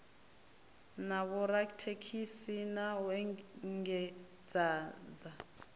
na vhorathekhiniki na u engedzadza